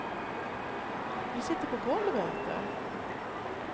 Ni sitter på golvet och äter.